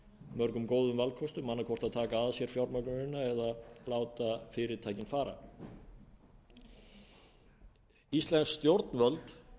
mörgum góðum valkostum annaðhvort að taka að sér fjármögnunina eða láta fyrirtækin fara íslensk stjórnvöld